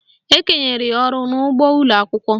Ekenyere ya ọrụ n'ụgbọ ụlọakwụkwọ